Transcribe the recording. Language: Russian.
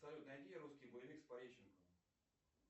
салют найди русский боевик с пореченковым